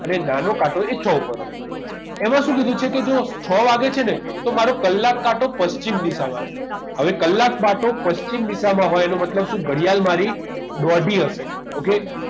અને નાનો કાંટો એ છ ઉપર હોય એમાં શું કીધું છે કે જો છ વાગે છે ને તો મારો કલાક કાઢો પશ્ચિમ દિશામાં હશે હવે કલાક કાંટો પશ્ચિમ દિશામાં હોય એનો મતલબ શું ઘડિયાળ મારી દોઢી હશે ok